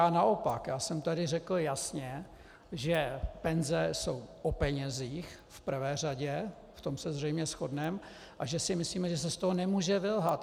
Já naopak, já jsem tady řekl jasně, že penze jsou o penězích v prvé řadě, v tom se zřejmě shodneme, a že si myslíme, že se z toho nemůže vylhat.